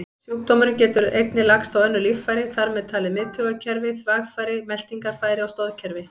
Sjúkdómurinn getur einnig lagst á önnur líffæri, þar með talið miðtaugakerfi, þvagfæri, meltingarfæri og stoðkerfi.